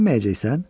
Dilənməyəcəksən?